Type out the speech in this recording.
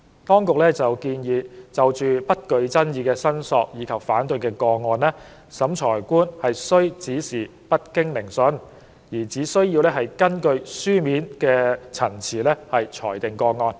當局建議，就不具爭議的申索及反對個案，審裁官須指示不經聆訊，而只根據書面陳詞裁定個案。